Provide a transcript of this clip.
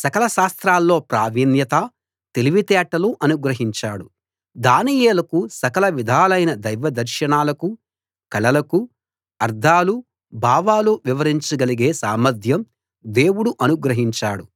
సకల శాస్త్రాల్లో ప్రావీణ్యత తెలివితేటలు అనుగ్రహించాడు దానియేలుకు సకల విధాలైన దైవదర్శనాలకు కలలకు అర్థాలు భావాలు వివరించగలిగే సామర్థ్యం దేవుడు అనుగ్రహించాడు